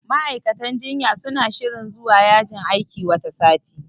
Ma'aikatan jinya suna shirin zuwa yajin aiki wata sati.